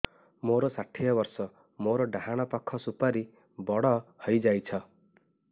ମୋର ଷାଠିଏ ବର୍ଷ ମୋର ଡାହାଣ ପାଖ ସୁପାରୀ ବଡ ହୈ ଯାଇଛ